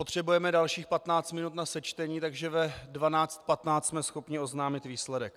Potřebujeme dalších 15 minut na sečtení, takže ve 12.15 jsme schopni oznámit výsledek.